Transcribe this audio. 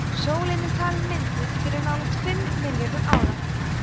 sólin er talin mynduð fyrir nálægt fimm milljörðum ára